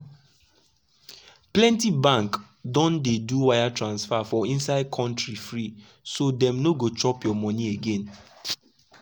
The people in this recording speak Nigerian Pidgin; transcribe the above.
plenty bank don dey do wire transfer for inside country free so dem no go chop your money again.